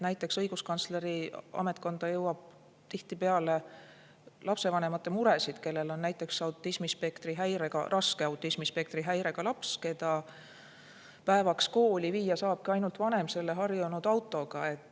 Näiteks õiguskantsleri ametkonda jõuab tihtipeale lapsevanemate muresid, kellel on näiteks autismispektri häirega, raske autismispektri häirega laps, keda päevaks kooli viia saabki ainult vanem selle harjunud autoga.